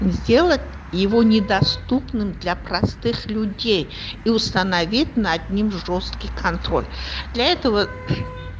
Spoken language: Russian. сделать его недоступным для простых людей и установить над ним жёсткий контроль для этого